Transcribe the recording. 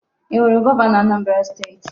I huru Governo Anambra steeti?